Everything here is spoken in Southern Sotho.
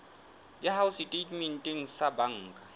ya hao setatementeng sa banka